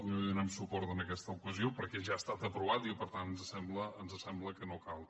no li donarem suport en aquesta ocasió perquè ja ha estat aprovat i per tant ens sembla que no cal